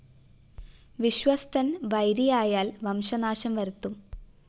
വിശ്വസ്തന്‍ വൈരിയായാല്‍ വംശനാശം വരുത്തും